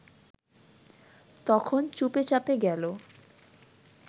তখন চুপে চাপে গেল